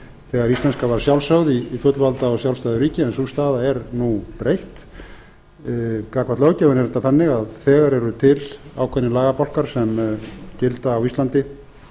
þegar íslenska var sjálfsögð í fullvalda og sjálfstæðu ríki en sú staða er nú breytt gagnvart löggjöfinni er þetta þannig að þegar eru til ákveðnir lagabálkar sem gilda á íslandi